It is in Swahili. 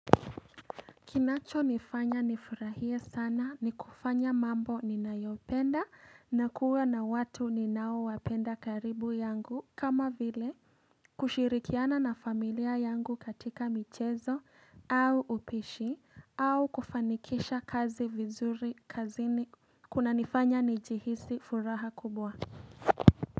Kinacho nifanya nifurahie sana ni kufanya mambo ninayopenda na kuwa na watu ni naowapenda karibu yangu kama vile kushirikiana na familia yangu katika michezo au upishi au kufanikisha kazi vizuri kazini kuna nifanya nijihisi furaha kubwa.